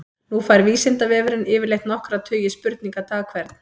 Nú fær Vísindavefurinn yfirleitt nokkra tugi spurninga dag hvern.